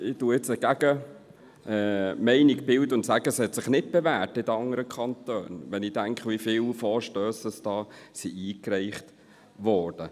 Ich vertrete jetzt die Gegenposition und sage, es habe sich in den anderen Kantonen nicht bewährt, wenn ich daran denke, wie viele Vorstösse eingereicht wurden.